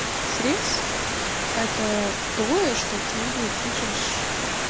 срез это то что ты пишешь